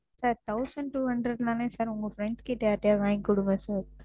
Sir thousand two hundred தான Sir உங்க Friends கிட்ட யார்கிட்டயாவது வாங்கி கொடுங்க Sir,